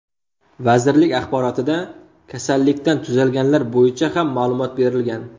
Vazirlik axborotida kasallikdan tuzalganlar bo‘yicha ham ma’lumot berilgan.